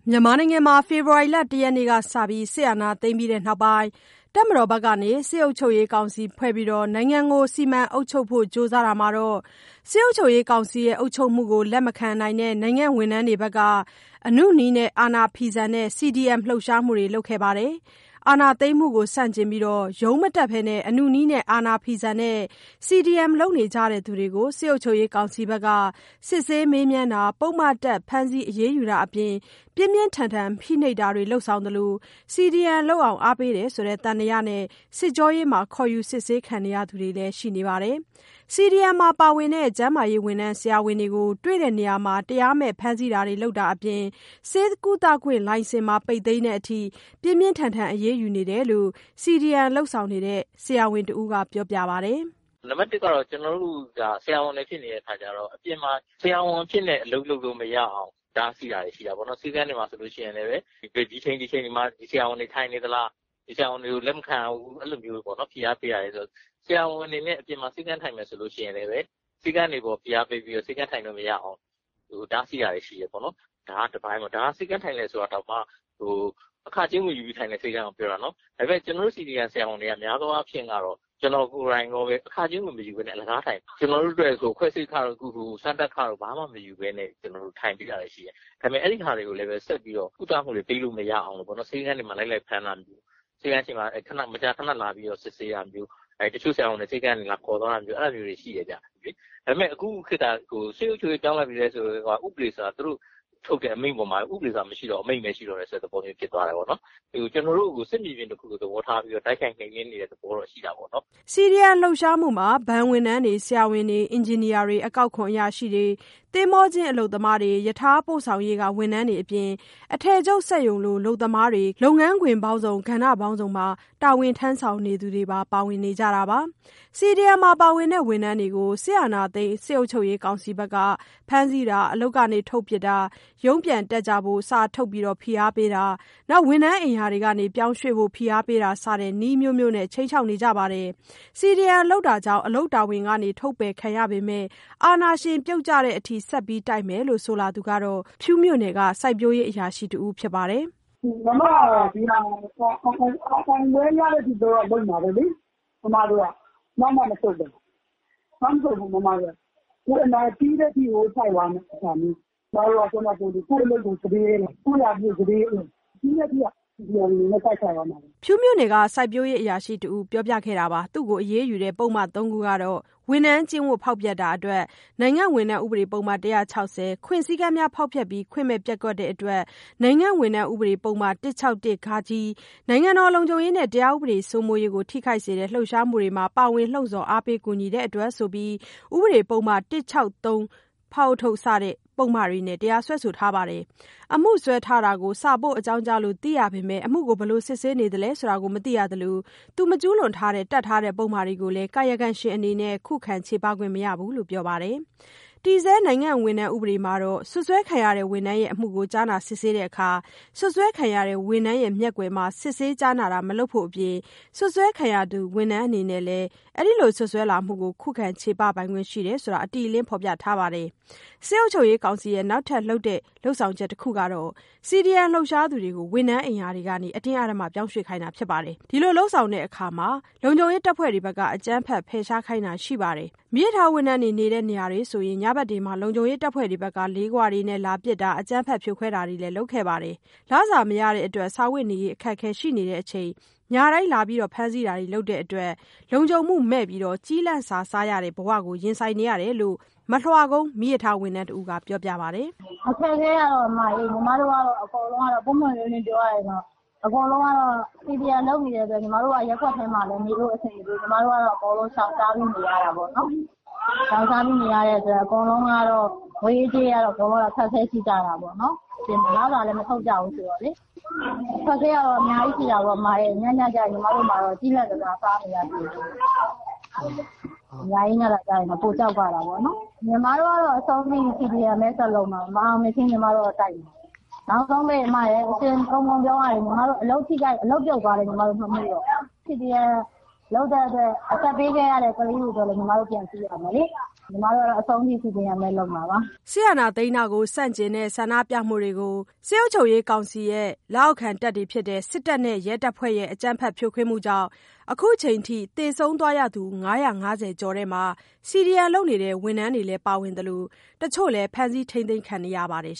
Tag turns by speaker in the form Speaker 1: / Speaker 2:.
Speaker 1: မြန်မာနိုင်ငံမှာ ဖေဖော်ဝါရီလ ၁ ရက်နေ့က စပြီး စစ်အာဏာသိမ်းပြီးတဲ့ နောက်ပိုင်း တပ်မတော်ဘက်က စစ်အုပ်ချုပ်ရေးကောင်စီဖွဲ့ပြီး နိုင်ငံကို စီမံအုပ်ချုပ်ဖို့ ကြိုးစားတာမှာတော့ စစ်အုပ်ချုပ်ရေးကောင်စီအုပ်ချုပ်မှုကို လက်မခံနိုင်တဲ့ နိုင်ငံဝန်ထမ်းတွေဘက်က အနုနည်းနဲ့ အာဏာဖီဆန်တဲ့ CDM လှုပ်ရှားမှုတွေ လုပ်ခဲ့တာပါ။ အာဏာသိမ်းမှုကို ဆန့်ကျင်ပြီး ရုံးမတက်ဘဲ အနုနည်းနဲ့ အာဏာဖီဆန်တဲ့ CDM လုပ်နေကြသူတွေကို စစ်ကောင်စီ ဘက်က စစ်ဆေး မေးမြန်းတာ၊ ပုဒ်မတပ် ဖမ်းဆီး အရေးယူတာတွေအပြင် ပြင်းပြင်းထန်ထန် ဖိနှိပ်တာတွေ လုပ်ဆောင်သလို CDM လုပ်အောင် အားပေးနေတယ်ဆိုတဲ့ သံသယနဲ့ စစ်ကြောရေးမှာ ခေါ်ယူစစ်ဆေးခံနေရသူတွေလည်းရှိနေပါတယ်။ CDM မှာပါဝင်တဲ့ ဆရာဝန်တွေကို တွေ့တဲ့နေရာမှာ တရားမဲ့ဖမ်းဆီးမှုတွေ လုပ်တာတွေအပြင် ဆေးကုသခွင့်လိုင်စင်ပါ ပိတ်သိမ်းတဲ့အထိ ပြင်းပြင်းထန်ထန် အရေးယူတာတွေ လုပ်ဆောင်နေတယ်လို့ CDM လုပ်နေတဲ့ ဆရာဝန်တဦးကပြောပါတယ်။
Speaker 2: "နံပတ် ၁ ကတော့ ကျနော်တို့ကို ဆရာဝန်ဖြစ်နေတာ့ အပြင်မှာ ဆရာဝန်အဖြစ်နဲ့ လုပ်လို့မရအောင်တားဆီးတာတွေတော့ ရှိတာပေါ့နော်။ ဆေးခန်းတွေမှာဆိုလို့ရှိရင်လည်း ဒီအချိန်၊ ဒီအချိန်တွေမှာ ဒီဆရာဝန်တွေ ထိုင်နေသလား၊ ဒီဆရာဝန်တွေကို လက်မခံရဘူး... အဲဒီလိုမျိုးတွေပေါ့နော်.... ဖိအားပေးတာပေါ့။ ဆရာဝန်အနေနဲ့ အပြင်မှာ ဆေးခန်း ထိုင်မယ်ဆိုရင်လည်း ဆေးခန်းတွေကို ဖိအားပေးပြီးတော့ ဆေးခန်းထိုင်လို့ မရအောင် တားဆီးတာတွေရှိတယ်ပေါ့နော်... ဒါက တပိုင်းပေါ့။ ဒါက ဆေးခန်းထိုင်တယ်ဆိုရင်တာတောင်မှ အခကြေးငွေယူပြီး ထိုင်တဲ့ဆေးခန်းကိုပြောတာနော်။ ဒါပေမဲ့ ကျနော်တို့ CDM ဆရာဝန်တွေက များသောအားဖြင့်တော့ ကျနော်ကိုယ်တိုင်ရောပဲ အခကြေးငွေ မယူဘဲနဲ့ အလကားထိုင်တာ။ ခွဲစိတ်ခတို့၊ စမ်းသပ်ခတို့ ဘာမှမယူဘဲနဲ့ ထိုင်ပေးတာတွေလည်းရှိတယ်။ ဒါပေမဲ့ အဲဒီဟာတွေကိုလည်းပဲ ဆက်ပြီးတော့ ကုသမှုတွေပေးလို့ မရအောင် ဆေးခန်းတွေမှာ လိုက်လိုက်ပြီးတော့ ဖမ်းတာမျိုး၊ ဆေးခန်းရှေ့မှာ မကြခဏ စစ်ဆေးတာမျိုး၊ ဆရာဝန်တွေကို ဆေးခန်းကနေ လာခေါ်သွားတာမျိုး... အဲဒါမျိုးတွေ ရှိတယ်။ ဒါပေမဲ့ အခုခေတ်က စစ်အုပ်ချုပ်ရေး ပြောင်းတော့ ဥပဒေဆိုတာ မရှိတော့ဘူး၊ သူတို့ထုတ်တဲ့ အမိန့်ပဲ ရှိတော့တယ်ဆိုတဲ့ သဘောမျိုး ဖြစ်သွားတယ်။ ကျနော်တို့ကို စစ်မြေပြင်တခုလို တိုက်ခိုက်နှိမ်နင်းနေတဲ့ သဘောတော့ ရှိတာပေါ့နော်
Speaker 1: ။" CDM လှုပ်ရှားမှုမှာ ဘဏ်ဝန်ထမ်းတွေ၊ ဆရာဝန်တွေ၊ အင်ဂျင်နီယာတွေ၊ အကောက်ခွန်အရာရှိတွေ၊ သင်္ဘောကျင်း အလုပ်သမားတွေ၊ ရထားပို့ဆောင်ရေးက ဝန်ထမ်းတွေအပြင် အထည်ချုပ်စက်ရုံက အလုပ်သမားတွေလို လုပ်ငန်းခွင်ပေါင်းစုံ၊ ကဏ္ဍမျိုးစုံမှာ တာဝန်ထမ်းဆောင်နေသူတွေ ပါဝင်နေကြတာ ဖြစ်ပါတယ်။ CDM မှာပါဝင်တဲ့ ဝန်ထမ်းတွေကို အာဏာသိမ်းစစ်ကောင်စီက ဖမ်းဆီးတာ၊ အလုပ်ကနေ ထုတ်ပစ်တာ၊ ရုံးပြန်တက်ကြဖို့ စာထုတ်ဖိအားပေးတာ၊ ဝန်ထမ်းအိမ်ရာတွေကနေ ပြောင်းရွှေ့ဖို့ ဖိအားပေးတာစတဲ့ နည်းအမျိုးမျိုးနဲ့ ခြိမ်းခြောက်နေပါတယ်။ CDM လုပ်တာကြောင့် အလုပ်တာဝန်ကနေ ထုတ်ပယ်ခံရပေမဲ့ အာဏာရှင်ပြုတ်ကျတဲ့ အထိဆက်ပြီး တိုက်မယ်လို့ ဆိုလာသူကတော့ ဖြူးမြို့နယ် စိုက်ပျိုးရေးအရာရှိ တဦး ဖြစ်ပါတယ်။ "ကျမကတော့ ဒါက
Speaker 3: ိုအောင်ပွဲရတဲ့ အထိလုပ်မှာပဲ။ ကျမတို့ကနောက်မဆုတ်တာ၊ နောက်မဆုတ်ဘူး ပြီးတဲ့ အထိတိုက်မယ်။ ကိုယ့်ရာထူးစတေးရဲတယ်။ အလုပ်ကို စတေးရဲတယ်။ ပြီးတဲ့ထိ CDM အနေနဲ့ တိုက်ခိုက်သွားမယ်။
Speaker 1: " သူမကို အရေးယူတဲ့ ပုဒ်မ ၃ ခုကတော့ ဝန်ထမ်းကျင့်ဝတ်ဖောက်ဖျက်တာအတွက် နိုင်ငံဝန်ထမ်း ဥပဒေ ပုဒ်မ ၁၆၀၊ ခွင့်စည်းကမ်းများကို ဖောက်ဖျက်ပြီး ခွင့်မဲ့ပျက်ကွက်တဲ့အတွက် နိုင်ငံဝန်ထမ်း ဥပဒေ ပုဒ်မ ၁၆၁- ဃ၊ နိုင်ငံတော် လုံခြုံရေးနဲ့ တရားဥပဒေစိုးမိုးရေးကို ထိခိုက်စေတဲ့ လှုပ်ရှားမှုတွင် ပါဝင်လှုံ့ဆော်အားပေးကူညီတဲ့အတွက်ဆိုပြီး ဥပဒေပုဒ်မ ၁၆၃ -ဖ စတဲ့ ပုဒ်မတွေနဲ့ တရားစွဲဆိုထားပါတယ်။ အမှုစွဲထားတာကိုစာပို့ အကြောင်းကြားလို့ သိခဲ့ရပေမဲ့ အမှုကို ဘယ်လိုစစ်ဆေးနေသလဲဆိုတာ မသိရသလို မကျူးလွန်ခဲ့တဲ့ တပ်ထားတဲ့ ပုဒ်မတွေကိုလည်း ကာယကံရှင်အနေနဲ့ ခုခံချေပခွင့်မရဘူးလို့ ပြောပါတယ်။ တည်ဆဲ နိုင်ငံဝန်ထမ်း ဥပဒေမှာ စွပ်စွဲခံရတဲ့ ဝန်ထမ်းရဲ့ အမှုကို ကြားနာစစ်ဆေးတာမှာစွပ်စွဲခံရတဲ့ ဝန်ထမ်းမျက်ကွယ်မှာ စစ်ဆေးကြားနာတာ မလုပ်ဖို့ အပြင် စွပ်စွဲခံရသူ ဝန်ထမ်းအနေနဲ့ စွပ်စွဲမှုကို ခုခံချေပခွင့်ရှိတယ်လို့ အတိအလင်းဖော်ပြထားပါတယ်။ စစ်ကောင်စီရဲ့ နောက်ထပ် ဖိနှိပ်တဲ့ လုပ်ဆောင်ချက်တချက်ကတော့ CDM လှုပ်ရှားသူတွေကို ဝန်ထမ်းအိမ်ယာတွေကနေ အတင်းအဓမ္မ ပြောင်းရွှေ့ခိုင်းတာပါ။ အဲဒီလို လုပ်ဆောင်တဲ့နေရာမှာ အကြမ်းဖက် ဖယ်ရှားခိုင်းတာတွေလည်း ရှိပါတယ်။ မီးရထားဝန်ထမ်းတွေ နေတဲ့နေရာတွေဆို ညဘက်တွေမှာ လုံခြုံရေး တပ်ဖွဲ့တွေက လေးခွနဲ့ လာပစ်တာ၊ အကြမ်း ဖက်ဖြိုခွဲ တာတွေလုပ်ခဲ့တာတွေ ရှိပါတယ်။ လစာမရကြတဲ့အတွက် စားဝတ်နေရေးလည်း အခက်အခဲရှိကြတဲ့ အပြင် ညတိုင်း လာရောက်ဖမ်းဆီးတာ တွေလုပ် တာကြောင့် လုံခြုံမှုမဲ့ ကျီးလန့်စာစားရတဲ့ ဘဝနဲ့ ရင်ဆိုင်နေရတယ်လို့ မလွှကုန်း မီးရထားဝန်ထမ်းတဦးက ပြောပါတယ်။ "အခက်အခဲကတော့ အမရေ... ပွ
Speaker 3: င့်ပွင့်လင်းလင်းပြောရရင် အကုန်လုံးက CDM လုပ်နေကြတဲ့အတွက် ညီမတို့ ရပ်ကွက်ထဲ နေလို့မရဘူး။ ညီမတို့က ရှောင်ရှားပြီးနေရ တာပေါ့နော်။ ရှောင်ရှားနေရတော့ ငွေရေးကြေးရေး အခက်အခဲရှိတာပေါ့။ လစာလည်း မထုတ်ကြဘူးဆိုတော့လေ။ အခက်အခဲကများကြီးရှိတာပေါ့ ညညကျရင် ညီမတို့မှာ ကျီးလန့်စာစားနေရတာပေါ့။ ညရေးညတာ ပိုကြောက်ရတာပေါ့။ ညီမတို့ကတော့ CDM ပဲ ဆက်လုပ်မယ်။ မအောင်မြင်မချင်းတိုက်မှာ။ နောက်ဆုံးပိတ် ညီမအလုပ်ပြုတ်သွားလည်း မမှုတော့ဘူး။ CDM လုပ်လို့ အသက်ပေးရသူတွေကိုလည်း ကြည့်ရဦးမယ်။ အဆုံးထိ
Speaker 2: ည
Speaker 1: ီမတို့တိုက်မှာပါ။" အာဏာသိမ်းတာကို ဆန့်ကျင်တဲ့ ဆန္ဒပြမှုတွေကို စစ်တပ်နဲ့ ရဲတပ်ဖွဲ့တို့ရဲ့ အကြမ်းဖက်ဖြိုခွဲမှုကြောင့် အခုချိန် အထိ သေဆုံးခဲ့ရသူ ၅၅၀ ကျော်ထဲမှာ CDM လုပ်နေတဲ့ ဝန်ထမ်းတွေလည်း ပါဝင်နေသလို တချို့လည်း ဖမ်းဆီး ထိန်းသိမ်းခံထားရပါတယ်